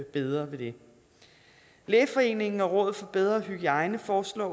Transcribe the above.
bedre ved det lægeforeningen og rådet for bedre hygiejne foreslår